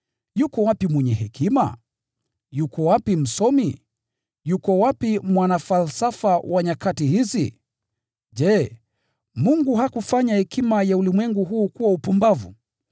Yuko wapi mwenye hekima? Yuko wapi msomi? Yuko wapi mwanafalsafa wa nyakati hizi? Je, Mungu hakufanya hekima ya ulimwengu huu kuwa upumbavu?